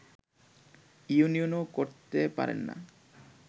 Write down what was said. ইউনিয়নও করতে পারেন না